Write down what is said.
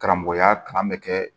Karamɔgɔya kalan bɛ kɛ